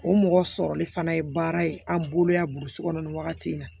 O mɔgɔ sɔrɔli fana ye baara ye an bolo yan burusi kɔnɔ nin wagati in na